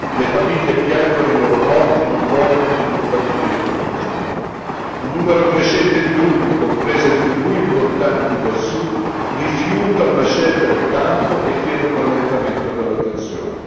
Le famiglie piangono i loro morti, non vogliono che i combattimenti continuino. Un numero crescente di gruppi, comprese tribù importanti del Sud, rifiuta una scelta di campo e chiede un allentamento della tensione.